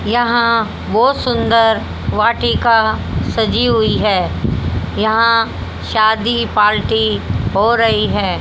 यहां बहोत सुंदर वाटिका सजी हुई है यहां शादी पार्टी हो रही है।